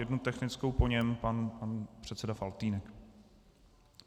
Jednu technickou, po něm pan předseda Faltýnek.